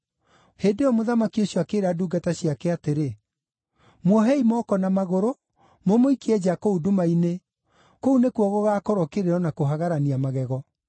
“Hĩndĩ ĩyo mũthamaki ũcio akĩĩra ndungata ciake atĩrĩ, ‘Muohei moko na magũrũ, mũmũikie nja kũu nduma-inĩ, kũu nĩkuo gũgaakorwo kĩrĩro na kũhagarania magego.’